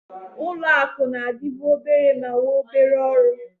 Ụlọ akụ na-adịbu obere ma nwee obere ọrụ.